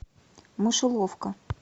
мышеловка